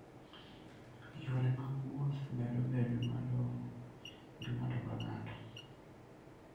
Yore mag wuoth medo bedo malong'o ne ng'ato ka ng'ato.